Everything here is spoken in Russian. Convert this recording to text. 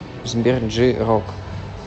сбер джей рок